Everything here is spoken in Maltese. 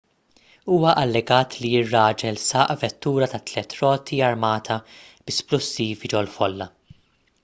huwa allegat li ir-raġel saq vettura ta' tliet roti armata bi splussivi ġol-folla